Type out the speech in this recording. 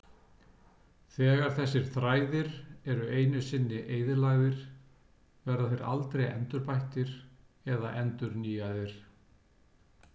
Þegar þessir þræðir eru einu sinni eyðilagðir verða þeir aldrei endurbættir eða endurnýjaðir.